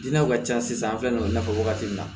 Diinɛw ka ca sisan an filɛ nɔ i n'a fɔ wagati min na